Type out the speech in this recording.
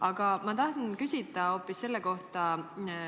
Aga ma tahan küsida hoopis selle kohta.